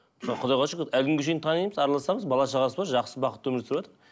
мысалға құдайға шүкір әлі күнге шейін танимыз араласамыз бала шағасы бар жақсы бақытты өмір сүріватыр